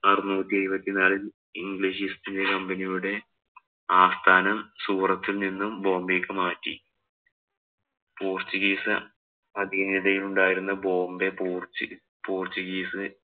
അറുനൂറ്റി എഴുപത്തി നാലില്‍ English East India Company യുടെ ആസ്ഥാനം സൂററ്റില്‍ നിന്നും ബോംബെക്ക് മാറ്റി. പോര്‍ച്ചുഗീസ് അധീനതയിലുണ്ടായിരുന്ന ബോംബെ പോര്‍ച്ചുഗീസ്